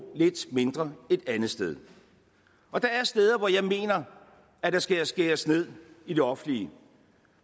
lidt mindre et andet sted og der er steder hvor jeg mener der skal skæres ned i det offentlige